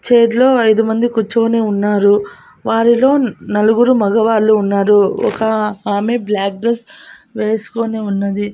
Chair లో ఐదు మంది కుచ్చొని ఉన్నారు వారిలో నలుగురు మగవాళ్ళు ఉన్నారు ఒక ఆమె బ్లాక్ డ్రెస్ వేస్కొని ఉన్నది.